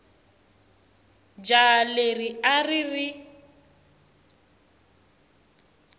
jaha leri a ri ri